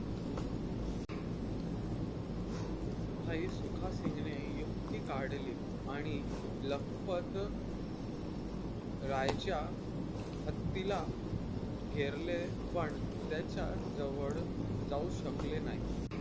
भाई सुखासिन्गने युक्ती काढली आणि लखपत रायच्या हत्तीला घेरले पण त्याच्या जवळ जाऊ शकले नाही.